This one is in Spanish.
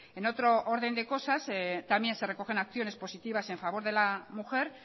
en otro orden de cosas también se recogen acciones positivas en favor de la mujer